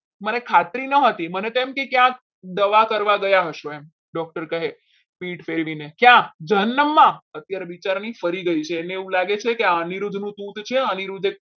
મને ખાતરી ન હતી કે મને તો આમ દવા કરવા ગયા હશો આમ doctor કહે પીઠ ફેરવીને કયા જન્મમાં અત્યારે વિચારવાની ફરી ગઈ છે અને એવું લાગે છે આ નિરોધ